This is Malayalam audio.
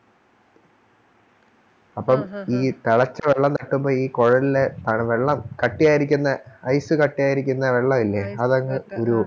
അപ്പോം ഈ തെളച്ച വെള്ളം തട്ടുമ്പൊ ഈ കൊഴലിലെ വെള്ളം കട്ടിയായിരിക്കുന്ന Ice കട്ടിയായിരിക്കുന്ന വെള്ളവില്ലേ അതങ്ങ് ഉരുകും